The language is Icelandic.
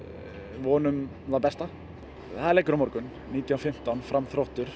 vonum það besta það er leikur á morgun nítján fimmtán Fram Þróttur